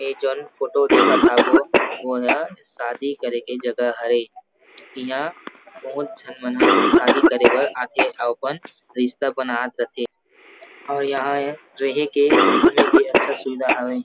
य जाऊन फोटो देखत हबो वोहा शादी करे के जगह हरे इहां बहुत झन मन ह शादी करे बर आ थे अपन रिश्ता बनात रथे अऊ यहां रेहे के घूमे के अच्छा सुविधा हावे।